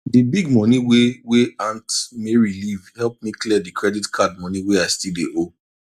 the big money wey wey aunt mary leave help me clear the credit card money wey i still dey owe